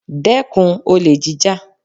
Dẹ́kun olè jíjà!